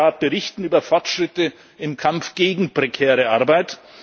Was kann der Rat berichten über Fortschritte im Kampf gegen prekäre Arbeit?